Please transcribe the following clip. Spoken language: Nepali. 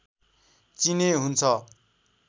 चिने हुन्छ